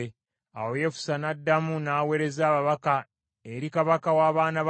Awo Yefusa n’addamu n’aweereza ababaka eri kabaka w’abaana ba Amoni